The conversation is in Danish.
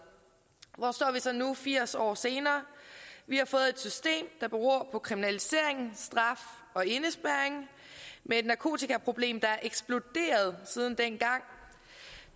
hvor står vi så nu firs år senere vi har fået et system der beror på kriminalisering straf og indespærring med et narkotikaproblem der er eksploderet siden dengang